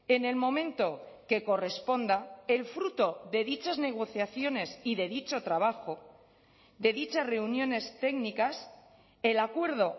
en el momento que corresponda el fruto de dichas negociaciones y de dicho trabajo de dichas reuniones técnicas el acuerdo